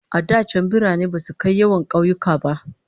A da can birane basu kai yawan kauyuka ba.